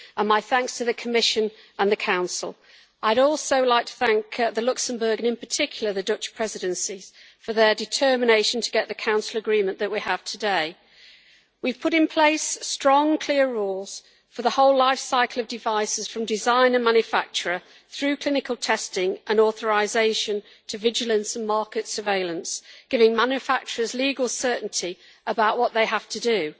My thanks to the Commission and the Council, and I would also like to thank the Luxembourg and, in particular Dutch Presidencies for their determination to get the Council agreement that we have today. We have put in place strong, clear rules for the whole life-cycle of devices, from design and manufacture through clinical testing and authorisation to vigilance and market surveillance, giving manufacturers legal certainty about what they have to do.